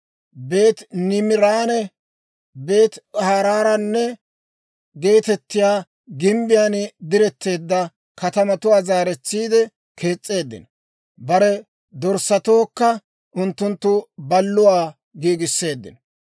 Beeti-Niimiranne Beeti-Haaraana geetettiyaa gimbbiyaan diretteedda katamatuwaa zaaretsiide kees's'eeddino. Bare dorssatookka unttunttu balluwaa giigisseeddino.